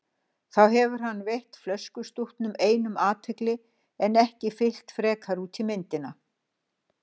Þá hefði hann veitt flöskustútnum einum athygli en ekki fyllt frekar út í myndina.